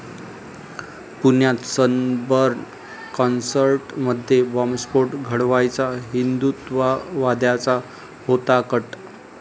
पुण्यात सनबर्न कॉन्सर्टमध्ये बॉम्बस्फोट घडवायचा हिंदुत्ववाद्यांचा होता कट